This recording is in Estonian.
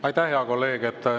Aitäh, hea kolleeg!